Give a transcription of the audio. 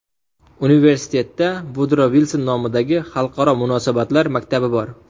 Universitetda Vudro Vilson nomidagi xalqaro munosabatlar maktabi bor.